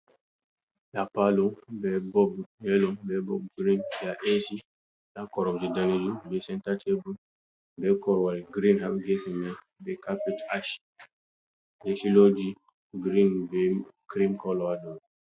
Nda palo, be bob yelo, be bob girin. Nda AC, nda koromje danejuum, be senta tebur, be korowal girin haa gefe man. Be kapet ash, ɓe filooji girin be krim kolo haa dow.